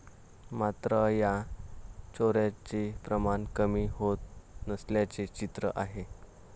मात्र, या चोऱ्यांचे प्रमाण कमी होत नसल्याचे चित्र आहे.